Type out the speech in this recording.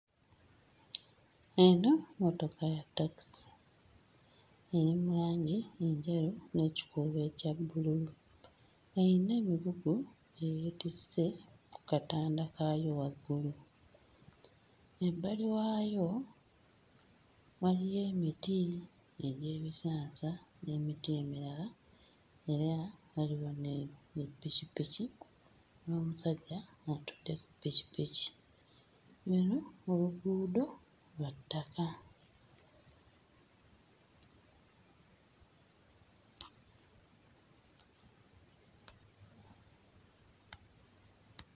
Eno mmotoka ya takisi eri mu langi enjeru n'ekikuubo ekya bbululu eyina emigugu gye yeetisse ku katanda kaayo waggulu. Ebbali waayo waliyo emiti egy'ebisansa n'emiti emirala era waliwo ne ne ppikippiki n'omusajja atudde, ppikippiki eno oluguudo lwa ttaka.